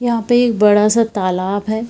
यहां पे एक बड़ा-सा तालाब है।